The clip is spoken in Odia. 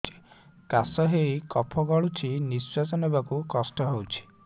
କାଶ ହେଇ କଫ ଗଳୁଛି ନିଶ୍ୱାସ ନେବାକୁ କଷ୍ଟ ହଉଛି